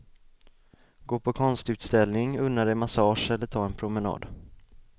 Gå på konstutställning, unna dig massage eller ta en promenad.